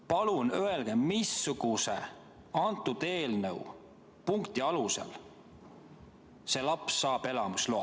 Palun öelge, missuguse antud eelnõu punkti alusel see laps saab elamisloa.